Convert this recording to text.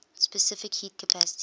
specific heat capacity